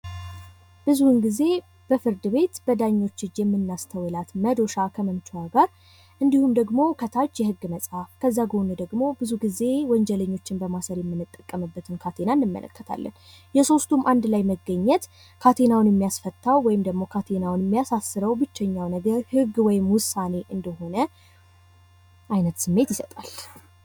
ብዙውን ጊዜ ፍርድ ቤት የምናያት መዶሻ ከመምቻዋ ጋር ፣ከታች መፅሀፍ፣ ከዛ ጎን ደግሞ ብዙ ጊዜ ወንጀለኞችን ለማሰር የምንጠቀምበት ካቴና እንመለከታለን። የሶስቱን አንድ ላይ ማግኘት ካቴናውን የሚያሳስረውም የሚያስፈታውም ህግ እንደሆነ የሚያሳይ ስሜት ይሰጣል።